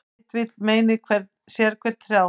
Sitt vill meinið sérhvern þjá.